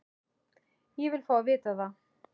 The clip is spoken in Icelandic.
Ég vil fá að vita það!